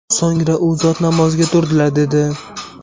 So‘ngra u zot namozga turdilar”, dedi.